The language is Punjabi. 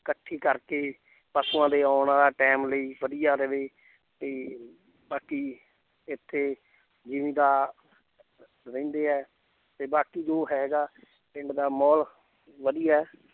ਇਕੱਠੀ ਕਰਕੇ ਪਸੂਆਂ ਦੇ ਆਉਣ ਵਾਲਾ time ਲਈ ਵਧੀਆ ਰਹੇ ਤੇ ਬਾਕੀ ਇੱਥੇ ਜ਼ਿੰਮੀਦਾ~ ਰਹਿੰਦੇ ਹੈ ਤੇ ਬਾਕੀ ਜੋ ਹੈਗਾ ਪਿੰਡ ਦਾ ਮਾਹੌਲ ਵਧੀਆ ਹੈ l